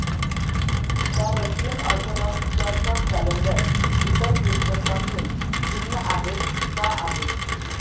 त्या Russian Orthodox Church of calendar इतर Christian पासून भिन्न आहेत का आहे